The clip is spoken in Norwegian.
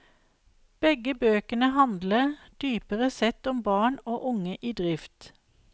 Begge bøkene handler dypere sett om barn og unge i drift.